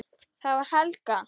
Það var Helga!